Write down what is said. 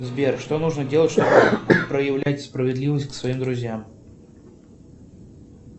сбер что нужно делать чтобы проявлять справедливость к своим друзьям